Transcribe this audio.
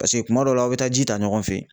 Paseke kuma dɔw la aw bɛ taa ji ta ɲɔgɔn fɛ yen.